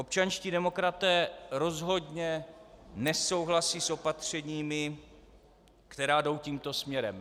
Občanští demokraté rozhodně nesouhlasí s opatřeními, která jdou tímto směrem.